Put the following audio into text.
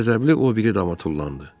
Qəzəbli o biri dama tullandı.